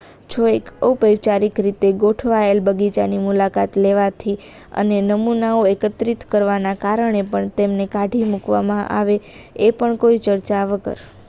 "જો એક ઔપચારિક રીતે ગોઠવાયેલ બગીચાની મુલાકાત લેવાથી અને "નમૂનાઓ" એકત્રિત કરવાના કારણે પણ તમને કાઢી મુકવામાં આવે એ પણ કોઈ ચર્ચા વગર.